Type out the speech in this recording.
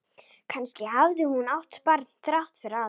Kannski hafði hún átt barn þrátt fyrir allt.